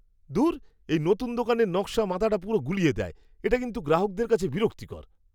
ধুর! এই নতুন দোকানের নকশা মাথাটা পুরো গুলিয়ে দেয়। এটা কিন্তু গ্রাহকদের কাছে বিরক্তিকর!